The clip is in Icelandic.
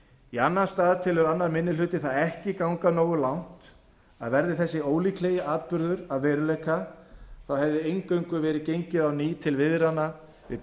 í annan stað telur annar minni hluti það ekki ganga nógu langt að verði þessi ólíklegi atburður að veruleika þá hefði eingöngu verið gengið til viðræðna á ný við